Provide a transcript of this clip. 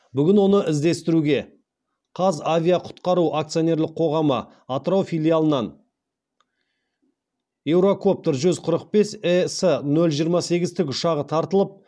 бүгін оны іздестіруге қазавиақұтқару акционерлік қоғамы атырау филиалынан еурокоптер жүз қырық бес ес нөл жиырма сегіз тікұшағы тартылып